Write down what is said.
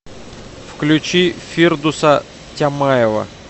включи фирдуса тямаева